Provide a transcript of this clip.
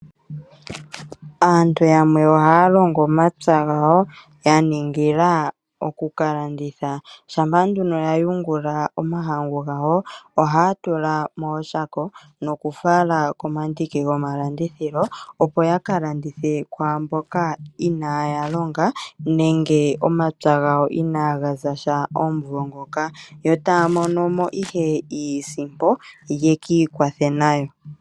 Aantu yamwe ohaya longo omapya gawo ya ningila oku ka landitha. Shampa ya yungula omahangu gawo, ohaya tula mooshako nokufala komandiki gomalandithilo, opo ya ka landithe kwaa mboka inaaya longa nenge omapya gawo inaaga za sha omumvo ngoka, yo taya mono mo ihe iisimpo ye ki ikwathe nayo.